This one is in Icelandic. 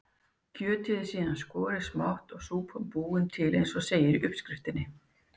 Kjötið er síðan skorið smátt og súpan búin til eins og segir í uppskriftinni.